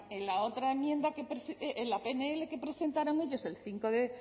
en la pnl que presentaron ellos el cinco